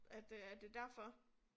At øh at det er derfor